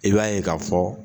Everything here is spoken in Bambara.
I b'a ye ka fɔ.